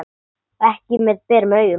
Ekki með berum augum.